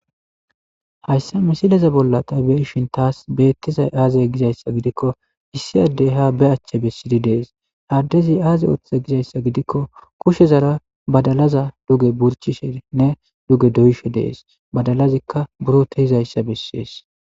Hayssa misileza bolla ta beishin taas beettizay aazay gizayssa gidikko issi addey ha be achche bessidi dees haaddezi aaze ooththe gizayssa gidikko kushezara badalaza duge burchishenne duge doyshe dees badalazikka buro tehizayssa bessees